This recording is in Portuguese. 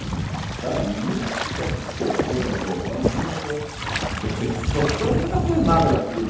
O cara nunca tocou um violão, nunca, você entendeu, o cara nunca fez nada daquilo.